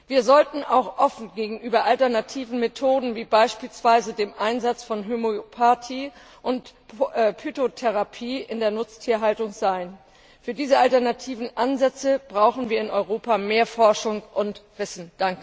Wir sollten auch offen gegenüber alternativen Methoden wie beispielsweise dem Einsatz von Homöopathie und Phytotherapie in der Nutztierhaltung sein. Für diese alternativen Ansätze brauchen wir in Europa mehr Forschung und Wissen.